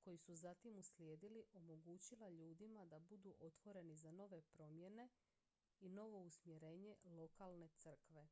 koji su zatim uslijedili omogućila ljudima da budu otvoreni za nove promjene i novo usmjerenje lokalne crkve